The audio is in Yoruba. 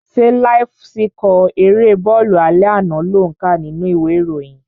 Ṣé láíf síkọ̀ erée bọ́ọ̀lù alẹ́ àná lò ń kà nínú ìwé ìròyìn?